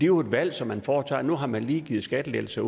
jo et valg som man foretager nu har man lige givet skattelettelser